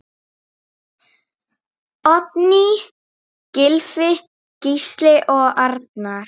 Oddný, Gylfi, Gísli og Arnar.